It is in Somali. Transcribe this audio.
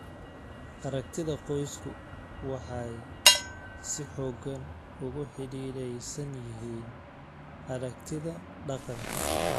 Aragtida qoysku waxay si xooggan ugu xididaysan yihiin aragtida dhaqanka.